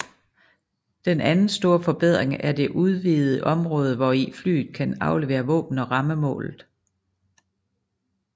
Den anden store forbedring er det udvidede område hvori flyet kan aflevere våben og ramme målet